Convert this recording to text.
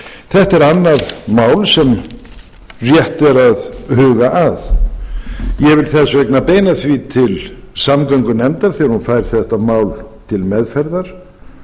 þetta er annað mál sem rétt er að huga að ég vil þess vegna beina því til samgöngunefndar þegar hún fær þetta mál til meðferðar